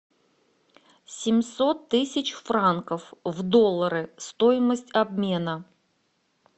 семьсот тысяч франков в доллары стоимость обмена